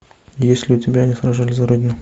есть ли у тебя они сражались за родину